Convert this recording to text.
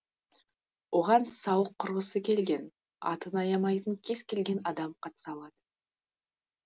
оған сауық құрғысы келген атын аямайтын кез келген адам қатыса алады